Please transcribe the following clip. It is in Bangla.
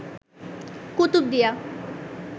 কুতুবদিয়া